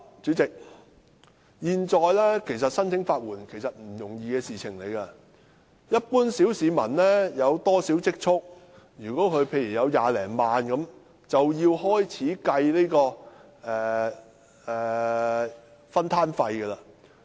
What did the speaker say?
主席，現在申請法援並非易事，一般小市民如果有少許積蓄，例如有20多萬元，便要開始計算分攤費。